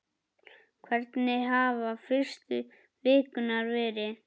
Hvernig hafa fyrstu vikurnar verið?